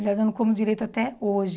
Aliás, eu não como direito até hoje.